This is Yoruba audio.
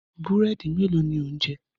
Búrẹ́dì mélòó ni ò ń jẹ?